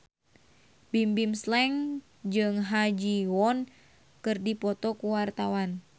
Bimbim Slank jeung Ha Ji Won keur dipoto ku wartawan